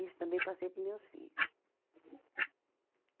Isso também passei para os meus filhos.